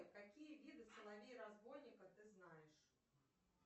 какие виды соловей разбойника ты знаешь